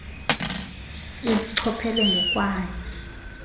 isichoph ele ngokwayo